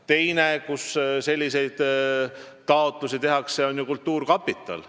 Teine koht, kuhu saab selliseid taotlusi teha, on ju kultuurkapital.